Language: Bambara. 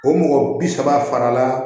O mɔgɔ bi saba fana la